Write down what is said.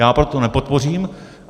Já pak to nepodpořím.